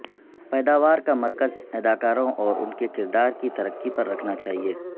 پیداوار کا مرکز اداکاروں اور ان کے کردار کی ترقی پر رکھنا چاہئے